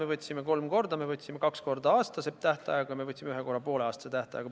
Me võtsime laenu kolm korda: me võtsime kaks korda aastase tähtajaga ja me võtsime ühe korra pooleaastase tähtajaga.